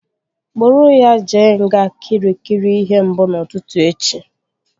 Kpụrụ ya jee nga Kịrikịri ihe mbụ n'ụtụtụ echi!